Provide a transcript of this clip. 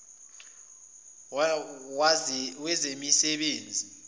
wezemisebenzi